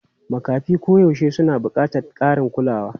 Makafi koyaushe suna buƙatar ƙarin kulawa.